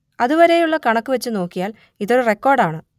അതുവരെയുള്ള കണക്കു വച്ചു നോക്കിയാൽ ഇതൊരു റിക്കോർഡാണ്